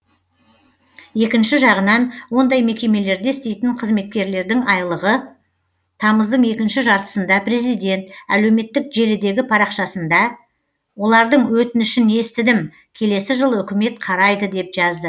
екінші жағынан ондай мекемелерде істейтін қызметкерлердің айлығы тамыздың екінші жартысында президент әлеуметтік желідегі парақшасында олардың өтінішін естідім келесі жылы үкімет қарайды деп жазды